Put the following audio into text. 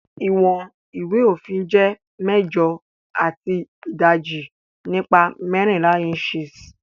iwọn ìwé òfin jé mẹjọ ati idaji nipa mẹrinla inches